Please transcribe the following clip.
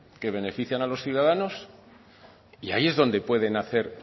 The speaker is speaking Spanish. que benefician a los ciudadanos y ahí es donde pueden hacer